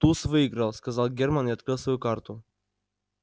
туз выиграл сказал германн и открыл свою карту